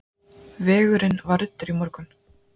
Vegurinn var ruddur í morgun.